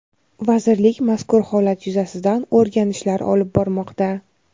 vazirlik mazkur holat yuzasidan o‘rganishlar olib bormoqda.